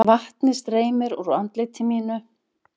Vatnið streymir úr andliti mínu.